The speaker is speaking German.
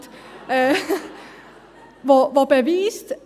Sie arbeitet und beweist: